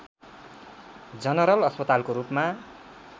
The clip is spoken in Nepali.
जनरल अस्पतालको रूपमा